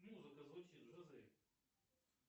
музыка звучит жизель